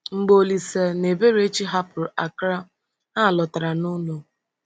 Mgbe Olíse na Eberechi hapụrụ Accra, ha lọtara n’ụlọ.